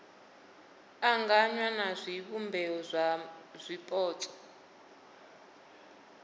anganywa na zwivhumbeo zwa zwipotso